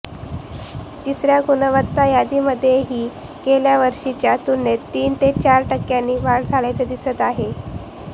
तिसऱ्या गुणवत्ता यादीमध्येही गेल्या वर्षीच्या तुलनेत तीन ते चार टक्क्यांनी वाढ झाल्याचे दिसत आहे